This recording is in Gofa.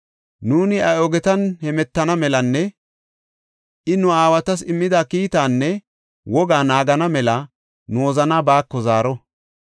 Nuuni iya ogetan hemetana melanne I nu aawatas immida kiitaanne wogaa naagana mela nu wozanaa baako zaaro.